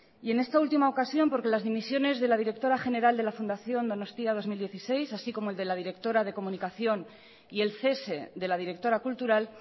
y en esta última ocasión porque las dimisiones de la directora general de la fundación donostia dos mil dieciséis así como el de la directora de comunicación y el cese de la directora cultural